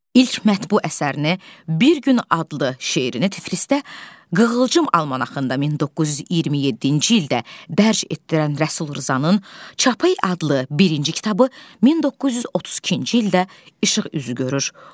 İlk mətbu əsərini bir gün adlı şeirini Tiflisdə Qığılcım Almanaxında 1927-ci ildə dərc etdirən Rəsul Rzanın Çapayı adlı birinci kitabı 1932-ci ildə işıq üzü görür.